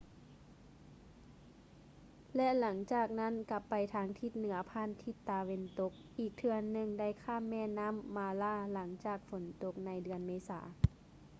ແລະ ຫຼັງຈາກນັ້ນກັບໄປທາງທິດເໜືອຜ່ານທິດຕາເວັນຕົກ ອີກເທື່ອໜຶ່ງໄດ້ຂ້າມແມ່ນໍ້າ mara ຫລັງຈາກຝົນຕົກໃນເດືອນເມສາ